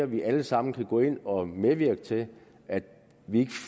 vi alle sammen kan gå ind og medvirke til at vi ikke